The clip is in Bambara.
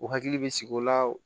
U hakili bɛ sigi o la